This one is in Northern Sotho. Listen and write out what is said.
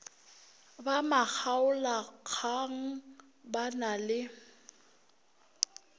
ba makgaolakgang ba na le